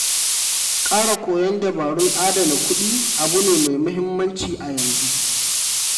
Ƙara koyon dabarun adana kuɗi abu ne mai muhimmanci a yanzu.